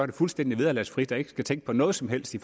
det fuldstændig vederlagsfrit og ikke tænke på noget som helst i